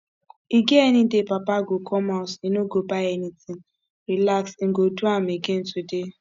e get any day papa go come house e no go buy anything relax im go do am again today